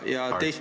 Ja teistpidi ...